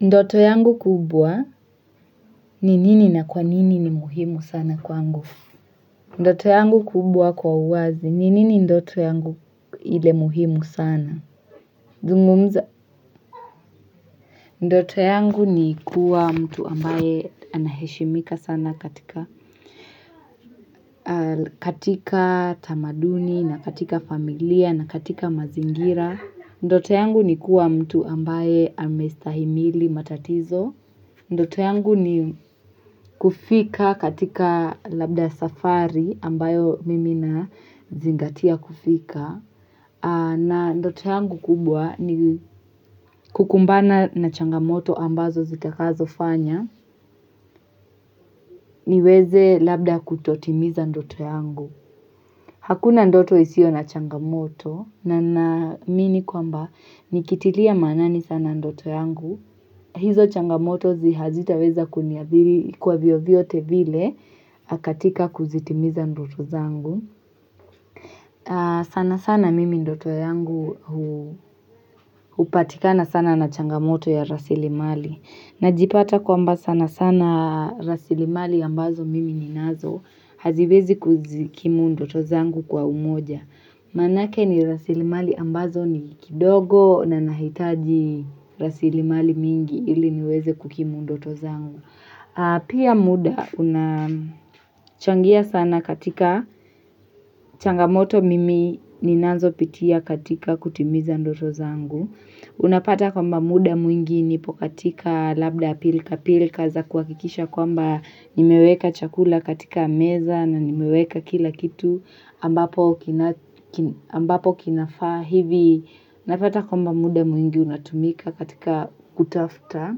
Ndoto yangu kubwa, ni nini na kwa nini ni muhimu sana kwangu? Ndoto yangu kubwa kwa uwazi, ni nini ndoto yangu ile muhimu sana? Zungumza. Ndoto yangu ni kuwa mtu ambaye anaheshimika sana katika katika tamaduni na katika familia na katika mazingira. Ndoto yangu ni kuwa mtu ambaye amestahimili matatizo. Ndoto yangu ni kufika katika labda safari ambayo mimi nazingatia kufika na ndoto yangu kubwa ni kukumbana na changamoto ambazo zitakazo fanya niweze labda kutotimiza ndoto yangu. Hakuna ndoto isio na changamoto na naamini kwamba nikitilia maanani sana ndoto yangu, hizo changamoto hazitaweza kuniadhiri kwa vyovyote vile katika kuzitimiza ndoto zangu. Sana sana mimi ndoto yangu hupatikana sana na changamoto ya rasilimali. Najipata kwamba sana sana rasilimali ambazo mimi ninazo haziwezi kuzikimu ndoto zangu kwa umoja. Manake ni rasili mali ambazo ni kidogo na nahitaji rasili mali mingi ili niweze kukimu ndoto zangu. Pia muda unachangia sana katika changamoto mimi ninazo pitia katika kutimiza ndoto zangu. Unapata kwamba muda mwingi nipo katika labda pilka pilka za kuhakikisha kwamba nimeweka chakula katika meza na nimeweka kila kitu. Ambapo kinafaa hivi napata kwamba muda mwingi unatumika katika kutafuta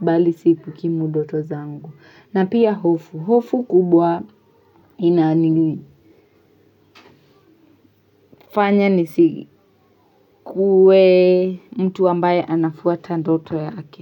bali si kukimu ndoto zangu. Na pia hofu. Hofu kubwa inani nisikuwe mtu ambaye anafuata ndoto yake.